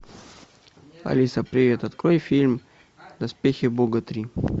алиса привет открой фильм доспехи бога три